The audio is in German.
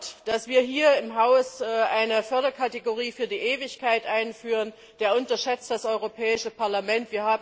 Wer glaubt, dass wir hier im Haus eine Förderkategorie für die Ewigkeit einführen, der unterschätzt das Europäische Parlament.